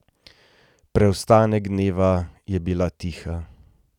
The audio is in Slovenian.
Preostanek dneva je bila tiha.